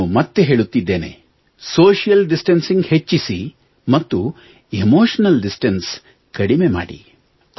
ನಾನು ಮತ್ತೆ ಹೇಳುತ್ತಿದ್ದೇನೆ ಸೋಶಿಯಲ್ ಡಿಸ್ಟಾನ್ಸಿಂಗ್ ಹೆಚ್ಚಿಸಿ ಮತ್ತು ಎಮೋಷನಲ್ ಡಿಸ್ಟನ್ಸ್ ಕಡಿಮೆ ಮಾಡಿ